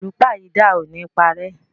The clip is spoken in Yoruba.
Àlúpàyídà o ni parẹ́.